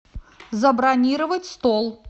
забронировать стол